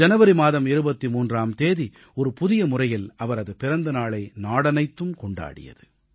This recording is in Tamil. ஜனவரி மாதம் 23ஆம் தேதி ஒரு புதிய முறையில் அவரது பிறந்தநாளை நாடே கொண்டாடியது